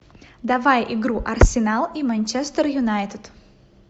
давай игру арсенал и манчестер юнайтед